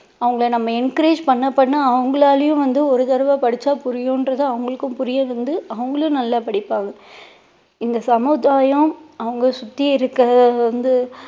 அவங்களை நம்ம encourage பண்ண பண்ண அவங்களாலேயும் வந்து ஒரு தடவை படிச்சா புரியுன்றதை அவங்களுக்கு புரிய வந்து அவங்களும் நல்லா படிப்பாங்க இந்த சமுதாயம் அவங்கள் சுத்தி இருக்கிற வந்து